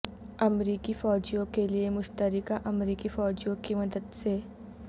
امریکی فوجیوں کے لئے مشترکہ امریکی فوجیوں کی مدد سے